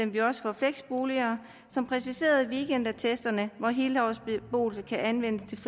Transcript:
vi også for flexboliger som præciserede weekendattesterne så helårsbeboelse kan anvendes